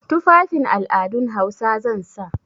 Tufafin al'adun Hausa zan sa.